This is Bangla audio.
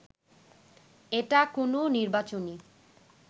এটা কোনো নির্বাচনী